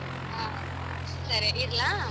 ಹ ಸರಿ ಇಡ್ಲಾ.